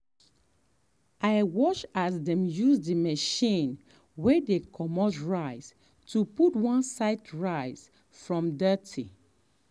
i watch as dem use the machine way dey commot rice to put one side rice from dirty.